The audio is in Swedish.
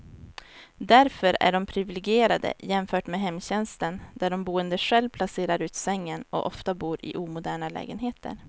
Därför är de priviligierade jämfört med hemtjänsten där de boende själv placerar ut sängen, och ofta bor i omoderna lägenheter.